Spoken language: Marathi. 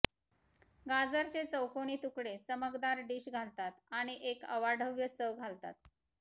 गाजरचे चौकोनी तुकडे चमकदार डिश घालतात आणि एक अवाढव्य चव घालतात